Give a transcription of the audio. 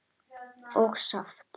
og saft.